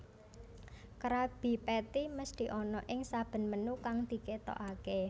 Krabby Patty mesthi ana ing saben menu kang diketokake